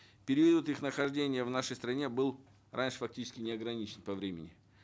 период их нахождения в нашей стране был раньше фактически неограничен по времени